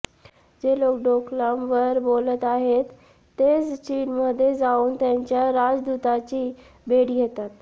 जे लोक डोकलामवर बोलत आहेत तेच चीनमध्ये जाऊन त्यांच्या राजदुताची भेट घेतात